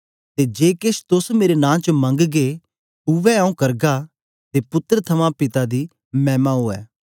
ते जे केछ तोस मेरे नां च मगंगे उवै आऊँ करगा के पुत्तर थमां पिता दी मैमा उवै